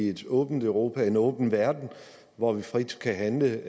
et åbent europa at en åben verden hvor vi frit kan handle